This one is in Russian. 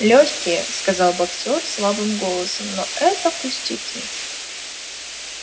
лёгкие сказал боксёр слабым голосом но это пустяки